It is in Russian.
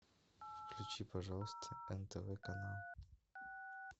включи пожалуйста нтв канал